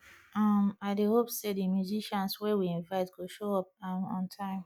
um i dey hope sey di musicians wey we invite go show up um on time